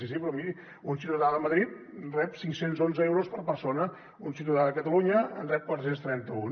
sí sí però miri un ciutadà de madrid rep cinc cents i onze euros per persona un ciutadà de catalunya en rep quatre cents i trenta un